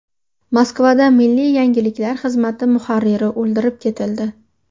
Moskvada milliy yangiliklar xizmati muharriri o‘ldirib ketildi.